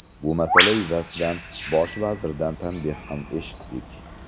Bu masala yuzasidan Bosh vazirdan tanbeh ham eshitdik.